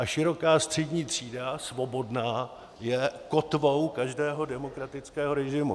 A široká střední třída, svobodná, je kotvou každého demokratického režimu.